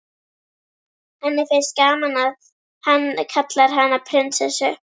Henni finnst gaman að hann kallar hana prinsessu.